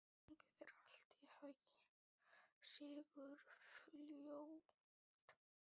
Gangi þér allt í haginn, Sigurfljóð.